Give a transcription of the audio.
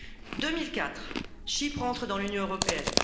En 2004, Chypre entre dans l'Union européenne.